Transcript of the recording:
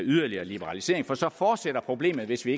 yderligere liberalisering for så fortsætter problemet hvis vi